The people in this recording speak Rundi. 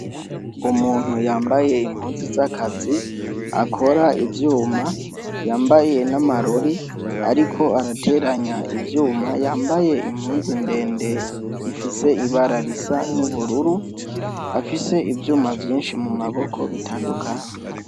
umuntu yambaye impunzu z'akazi akora ibyuma yambaye n'amarori ariko arateranya ibyuma yambaye impunzu ndende ifise ibara risa n'ubururu afise ibyuma byinshi mu maboko bitandukanye